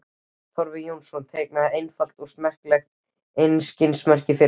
Torfi Jónsson teiknaði einfalt og smekklegt einkennismerki fyrir hann.